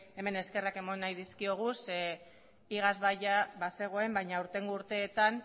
hemen eskerrak eman nahi dizkiogu zeren eta iaz ia bazegoen baina aurtengo urteetan